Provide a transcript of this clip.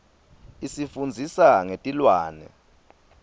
isifundzisa ngetilwane